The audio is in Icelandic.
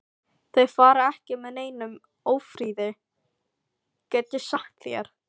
Þeir fara ekki með neinum ófriði, get ég sagt þér.